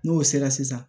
N'o sera sisan